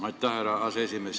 Aitäh, härra aseesimees!